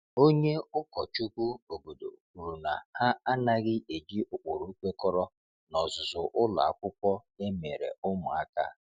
Onye ụkọchukwu obodo kwuru na ha anaghị eji ụkpụrụ kwekọrọ n’ọzụzụ ụlọ akwụkwọ emere ụmụaka.